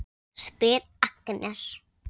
spyr Agnes.